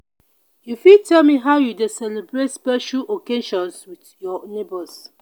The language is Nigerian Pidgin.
you fit tel me how you dey celebrate special occasions with your neighbors?